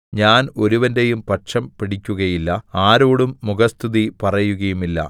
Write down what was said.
ഞാൻ ഒരുവന്റെയും പക്ഷം പിടിക്കുകയില്ല ആരോടും മുഖസ്തുതി പറയുകയുമില്ല